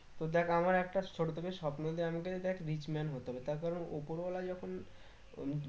তো দেখ আমার একটা ছোট থেকে স্বপ্ন আছে যে আমাকে দেখ rich man হতেই হবে তার কারণ উপরওয়ালা যখন